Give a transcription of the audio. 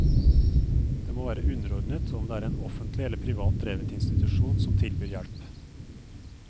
Det må være underordnet om det er en offentlig eller privat drevet institusjon som tilbyr hjelp.